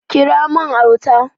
Kira mun Auta!